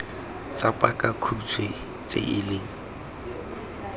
tsa pakakhutshwe tse e leng